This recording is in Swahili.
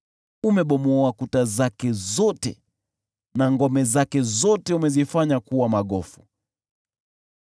Umebomoa kuta zake zote, na ngome zake zote umezifanya kuwa magofu.